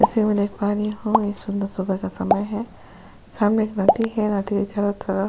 ऐसे में देख पा रहि हु एक सुंदर सुबह का समय है सामने एक नदी है नदी के चारो तरफ --